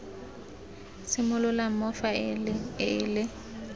simololang mo faeleng e le